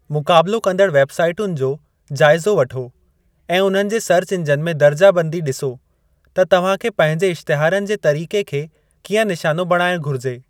मुक़ाबलो कंदड़ु वेब साईटुनि जो जाइज़ो वठो ऐं उन्हनि जे सर्च इंजन में दर्जा बंदी ॾिसो त तव्हां खे पंहिंजे इश्तिहारनि जे तरीक़े खे कीअं निशानो बणाइणु घुरिजे।